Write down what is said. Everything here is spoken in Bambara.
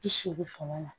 Bi seegin fanga na